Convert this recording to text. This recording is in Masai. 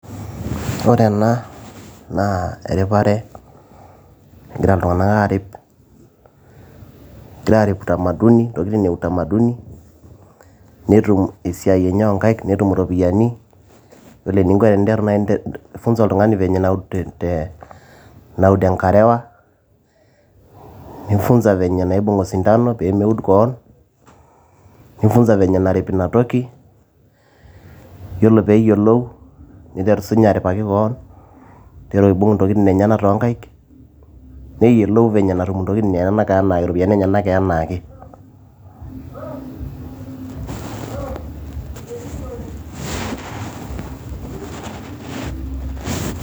Ore ena naa eripare, egira iltung'anak aarip intokiti eutamaduni, netum esiai enye oo inkaik netum iropiyiani. Ore ninko peee ifunza oltungani naud enkarewa, nifunza vinye naud osindano pee meud keon, nifunza venye narip ina toki, iyiolo pee eyiolou neiteru sii ninye aripaki keon, neiteru aibung' intokiti enyenak too nkaik, neyiolou venye netum intokiti iropiyiani enyenak anaake.